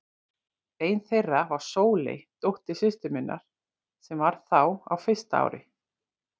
Ein þeirra var Sóley, dóttir systur minnar, sem þá var á fyrsta ári.